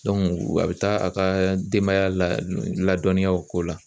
a bɛ taa a ka denbaya ladɔnniya o ko la